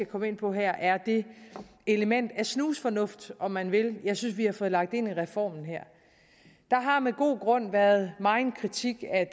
komme ind på her er det element af snusfornuft om man vil jeg synes vi har fået lagt ind i reformen der har med god grund været megen kritik af